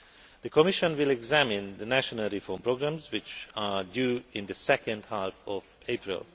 The Commission will examine the national reform programmes, which are due in the second half of April.